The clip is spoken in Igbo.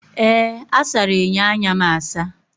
Ee! A sara enyo anya m asa.